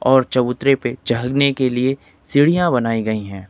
और चबूतरे पे चहलने के लिए सीढ़ियां बनाई गई है।